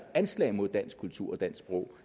anslag mod dansk kultur og dansk sprog